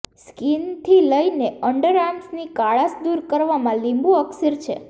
સ્કીનથી લઈને અંડરઆર્મ્સની કાળાશ દૂર કરવામાં લીંબુ અક્સીર છે